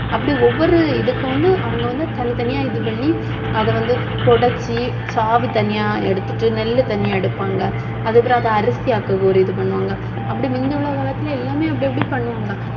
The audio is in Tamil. அப்படி ஒவ்வொரு இதுக்கும் வந்து அவங்க வந்து தனித்தனியா இது பண்ணி அதை வந்து புடைச்சு தனியா எடுத்துட்டு, நெல் தனியா எடுப்பாங்க. அதுக்கப்புறம் அதை அரிசியாக்க ஒரு இது பண்ணுவாங்க, அப்படி முந்தி உள்ள காலத்தில எல்லாமே அப்படி, அப்படி பண்ணுவாங்க